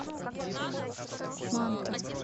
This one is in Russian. манта